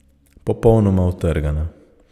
Popolnoma utrgana.